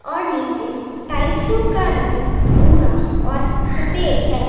और नीचे टाइल्सो का रंग भूरा और सफेद है।